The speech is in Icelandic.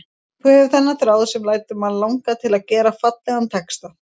Þú hefur þennan þráð sem lætur mann langa til að gera fallegan texta.